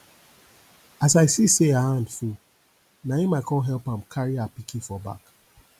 as i see say her hand full na im i come help am carry her pikin for back